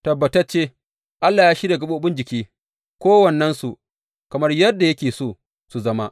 Tabbatacce, Allah ya shirya gaɓoɓin jiki, kowannensu, kamar yadda yake so su zama.